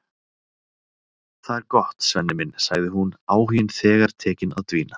Það er gott, Svenni minn, sagði hún, áhuginn þegar tekinn að dvína.